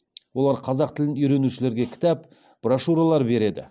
олар қазақ тілін үйренушілерге кітап брошюралар береді